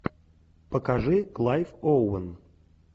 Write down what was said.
покажи клайв оуэн